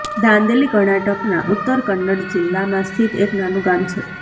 દાંદેલી કર્ણાટકના ઉત્તર કન્નડ જિલ્લામાં સ્થિત એક નાનું ગામ છે